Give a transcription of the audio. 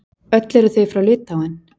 Öll eru þau frá Litháen.